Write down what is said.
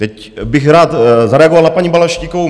Teď bych rád zareagoval na paní Balaštíkovou.